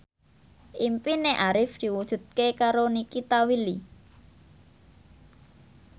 impine Arif diwujudke karo Nikita Willy